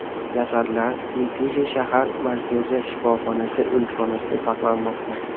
Jasadlar Mitishi shahar markaziy shifoxonasi o‘likxonasida saqlanmoqda.